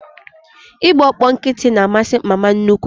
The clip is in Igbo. Ị gba ọkpọ nkịtị na amasị mama nnukwu